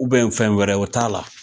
fɛn wɛrɛ o t'a la.